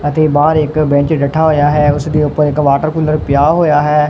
ਅਤੇ ਬਾਹਰ ਇੱਕ ਬੈਂਚ ਡੱਠਾ ਹੋਏ ਆ ਹੈ ਓਸਦੇ ਉਪਰ ਇੱਕ ਵਾਟਰ ਕੂਲਰ ਪਿਆ ਹੋਯਾ ਹੈ।